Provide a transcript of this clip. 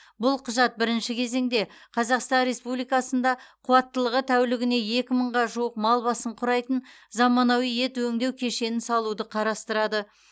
бұл құжат бірінші кезеңде қазақстан республикасында қуаттылығы тәулігіне екі мыңға жуық мал басын құрайтын заманауи ет өңдеу кешенін салуды қарастырады